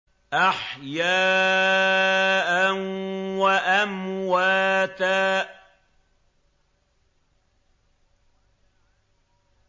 أَحْيَاءً وَأَمْوَاتًا